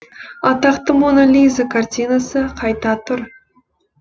атақты мона лиза картинасы қайта тұр